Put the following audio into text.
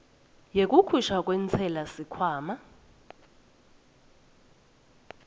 yekukhishwa kwentsela sikhwama